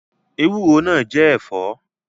Bitterlead is also a vegetable